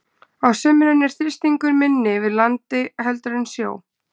Á sumrin er þrýstingur minni yfir landi heldur en sjó.